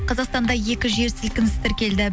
қазақстанда екі жер сілкініс тіркелді